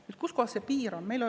Nüüd, kus see piir on?